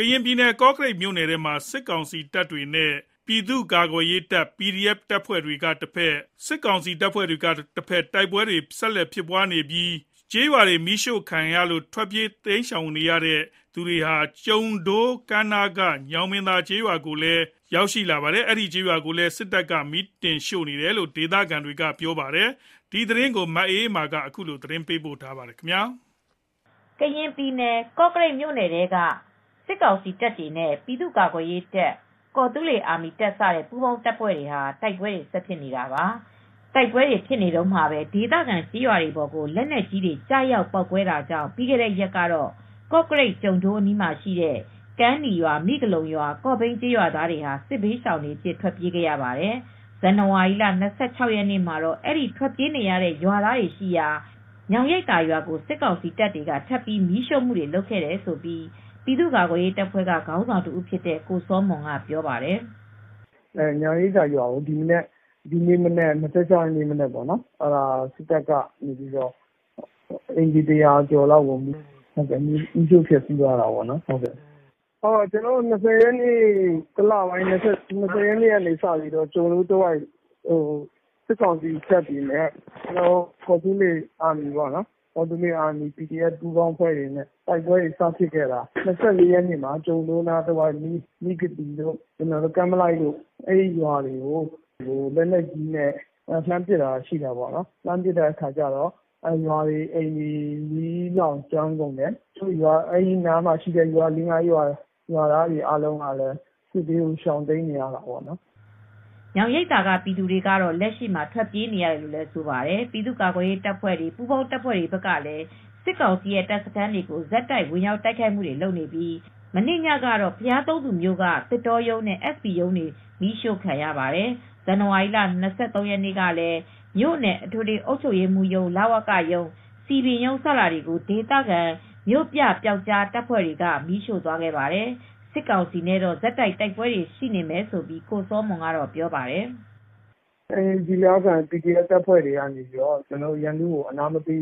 ရင်ပြည်နယ် ကော့ကရိတ်မြို့နယ်ထဲမှာစစ်ကောင်စီတပ်တွေနဲ့ပြည်သူ့ကာကွယ်ရေးတပ်၊ ကော်သူလေးအာမီတပ်စတဲ့ ပူးပေါင်းတပ်ဖွဲ့တွေ တိုက်ပွဲဆက်တိုက်ဖြစ်နေပြီး ပြီးခဲ့တဲ့ရက်က မီးရှို့ခံရလို့ ထွက်ပြေးတိမ်းရှောင်လာကြသူတွေရှိတဲ့ ကျုံဒိုး ကမ်းနားက ညောင်ရိပ်သာ ကျေးရွာကိုလည်း ဇန်နဝါရီလ ၂၆ ရက်နေ့မှာ စစ်တပ် က မီးတင်ရှို့နေတယ်လို့ ဒေသခံတွေကပြောပါတယ်။ ဒီသတင်းကို ဗွီအိုအေသတင်းထောက် မအေးအေးမာကသတင်းပေးပို့ထားပါတယ်။ ကရင်ပြည်နယ် ကော့ကရိတ်မြိ့နယ်ထဲမှာ စစ်ကောင်စီတပ်တွေနဲ့ ပြည်သူကာကွယ်ရေးတပ်၊ ကော်သူလေးအာမီတပ်စတဲ့ ပူးပေါင်းတပ်ဖွဲ့တွေ တိုက်ပွဲတွေဆက်တိုက် ဖြစ်နေတာပါ။ တိုက်ပွဲတွေဖြစ်နေတုန်းမှာပဲ ဒေသခံကျေးရွာတွေပေါ်ကို လက်နက်ကြီးတွေ ကျရောက်ပေါက်ကွဲတာကြောင့် ပြီးခဲ့တဲ့ရက်ကတော့ ကော့ကရိတ်၊ ကျုံဒိုးအနီးမှာရှိတဲ့ ကမ်းနီးရွာ၊ မိဂလုံရွာ၊ ကေ့ာဘိန်းကျေးရွာသားတွေ စစ်ဘေးရှောင်တွေအဖြစ် ထွက်ပြေးခဲ့ရပါတယ်။ ဇန်နဝါရီလ ၂၆ ရက်နေ့မှာတော့ အဲဒီ ထွက်ပြေးနေတဲ့ရွာသားတွေရှိရာ ညောင်ရိပ်သာရွာကို စစ်ကောင်စီတပ်တွေက ထပ်ပြီး မီးရှို့ခဲ့တယ်လို့ ပြည်သူ့ကာကွယ်ရေးတပ်ဖွဲ့ ခေါင်းဆောင်တဦးဖြစ်တဲ့ကိုစောမွန်ကပြောပြပါတယ်။ “ညောင်ရိပ်သာရွာကို ဒီနေ့မနက် ၂၆ ရက်နေ့မနက်မှာ အိမ်ခြေ ၁၀၀ ကျော်လောက်ကို စစ်တပ်က မီးရှို့ဖျက်ဆီးသွားတာပေါ့နော်။ ဇန်နဝါရီလ၂၀ ရက်နေ့ကစပြီး ကျုံဒိုးတဝိုက်မှာ စစ်ကောင်စီတပ်တွေနဲ့ ကော်သူလေးအာမီ ပီဒီအက်ဖ်ပူးပေါင်းအဖွဲ့တွေ တိုက်ပွဲတွေစဖြစ်တော့ ကျုံဒိုးတဝိုက်က မိဂသိရွာတို့၊ ကမ်းမလိုက်ရွာတို့၊ လက်နက်ကြီးနဲ့ပစ်ခတ်တာဖြစ်တာ။ ရွာတွေ၊ အိမ်တွေ မီးလောင်ကျွမ်းကုန်တယ်။ အဲဒီတဝိုက်ရွာ လေးငါးရွာကရွာသားတွေက စစ်ဘေးတွေရှောင်နေရတယ်။” ညောင်ရိပ်သာကပြည်သူတွေကတော့ လက်ရှိမှာ ထွက်ပြေးနေရတယ်လို့ ဆိုပါတယ်။ ပြည်သူ့ကာကွယ်ရေးတပ်ဖွဲ့၊ ပူးပေါင်းတပ်ဖွဲ့တွေဘက်ကလည်း စစ်ကောင်စီရဲ့ တပ်စခန်းကို ဆက်တိုက် ဝင်ရောက်တိုက်ခိုက်နေပြီး မနေ့ညကတော့ ဘုရားသုံးဆူမြို့က သစ်တောရုံးနဲ့ SB ရုံးတွေ မီးရှို့ခံရပါတယ်။ ဇန်နဝါရီလ ၂၃ ရက်နေ့က လည်း မြို့နယ်အထွေထွေအုပ်ချုပ်ရေးမှူးရုံး၊ လဝကရုံး၊ စည်ပင်ရုံးစတာတွေကို ဒေသခံမြို့ပြပျောက်ကြားတပ်ဖွဲ့တွေက မီးရှို့သွားခဲ့ပါတယ်။ စစ်ကောင်စီနဲ့တော့ ဆက်တိုက် တိုက်ပွဲတွေရှိနေမယ်လို့ ကိုစောမွန်ကပြောပါတယ်။ “ကျနော်တို့ ဒေသခံပီဒီအက်ဖ် တပ်ဖွဲ့တွေက ရန်သူကိုအနားမပေး